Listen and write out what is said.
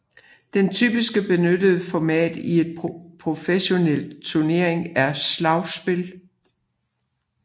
Det typisk benyttede format i en professionel turnering er slagspil